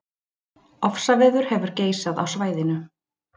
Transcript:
Ofsaveður hefur geisað á svæðinu